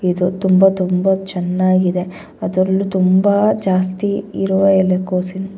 ಇದು ತುಂಬಾ ತುಂಬಾ ಚೆನ್ನಾಗಿದೆ ಅದರಲ್ಲಿ ತುಂಬಾ ಜಾಸ್ತಿ ಇರುವ ಎಲೆಕೋಸು--